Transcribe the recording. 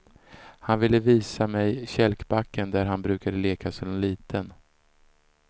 Han ville visa mej kälkbacken där han brukade leka som liten.